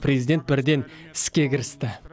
президент бірден іске кірісті